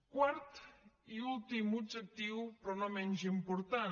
quart i últim objectiu però no menys important